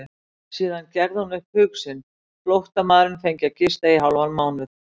Síðan gerði hún upp hug sinn, flóttamaðurinn fengi að gista hálfan mánuð.